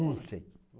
Não sei.